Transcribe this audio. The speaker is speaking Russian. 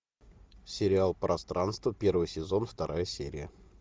сериал пространство первый сезон вторая серия